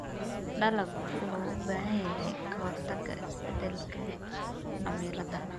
Dalaggu wuxuu u baahan yahay ka-hortagga isbeddelka cimilada.